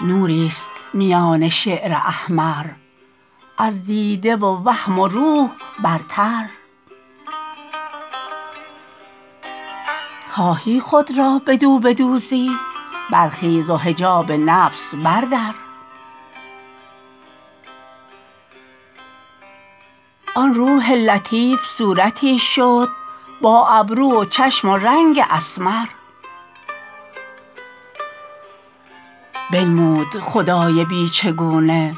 نوریست میان شعر احمر از دیده و وهم و روح برتر خواهی خود را بدو بدوزی برخیز و حجاب نفس بردر آن روح لطیف صورتی شد با ابرو و چشم و رنگ اسمر بنمود خدای بی چگونه